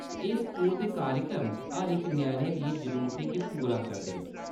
एह्‌‌ स्कूल ते कार्यक्रम हर इक ञ्याणे दियें जरूरतें गी पूरा करदे न।